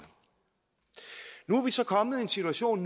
nu er vi så kommet i en situation